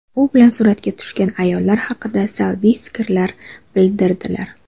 U bilan suratga tushgan ayollar haqida salbiy fikrlar bildirdilar.